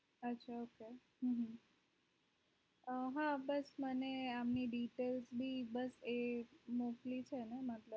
ok ok હમમ અ હા મને આમની details મોકલી છે